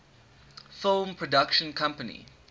film production company